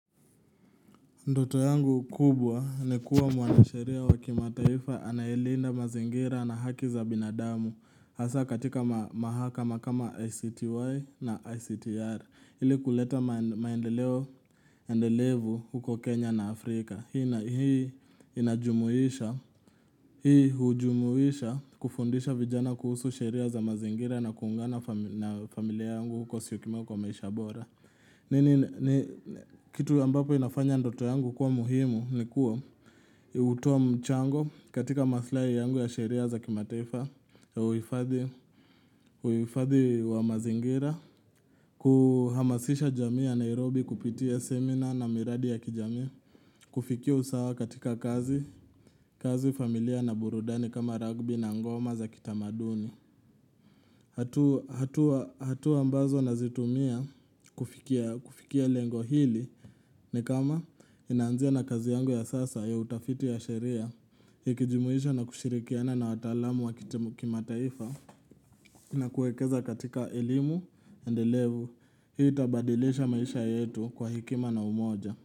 Ndoto yangu kubwa ni kuwa mwanasheria wakimataifa anaye linda mazingira na haki za binadamu Hasa katika mahakama kama ICTY na ICTR Hili kuleta maendelevu huko Kenya na Afrika Hii hujumuisha kufundisha vijana kuhusu sheria za mazingira na kuungana na familia yangu huko syokimau kwa maisha bora nini kitu ambapo inafanya ndoto yangu kuwa muhimu ni kuwa hutoa mchango katika mathlai yangu ya sheria za kimataifa uhifadhi wa mazingira kuhamasisha jamii ya Nairobi kupitia seminar na miradi ya kijami kufikia usawa katika kazi familia na burudani kama ragbi na ngoma za kitamaduni hatua ambazo nazitumia kufikia lengo hili ni kama inanzia na kazi yangu ya sasa ya utafiti ya sheria Ikijimuisha na kushirikiana na wataalamu wakitama kimataifa na kuekeza katika elimu, endelevu Hii itabadilisha maisha yetu kwa hekima na umoja.